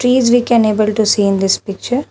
Trees we can able to see in this picture.